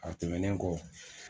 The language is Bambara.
A tɛmɛnen kɔ